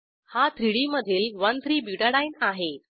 हा 3डी मधील 13बुटाडीने आहे